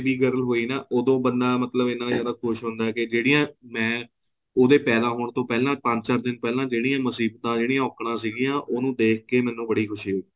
ਜਦੋਂ ਮੇਰੇ ਕੋਲ baby girl ਹੋਈ ਨਾ ਉਦੋਂ ਬੰਦਾ ਮਤਲਬ ਇਹਨਾਂ ਜਿਆਦਾ ਖੁਸ਼ ਹੁੰਦਾ ਕਿ ਜਿਹੜੀਆਂ ਮੈਂ ਉਦੇ ਪੰਜ ਚਾਰ ਦਿਨ ਤੋਂ ਪਹਿਲਾਂ ਜਿਹੜੀਆਂ ਮੁਸੀਬਤਾ ਜਿਹੜੀਆਂ ਔਕੜਾ ਸੀਗੀਆ ਉਹਨੂੰ ਦੇਖ ਕੇ ਮੈਨੂੰ ਬੜੀ ਖ਼ੁਸ਼ੀ ਹੋਈ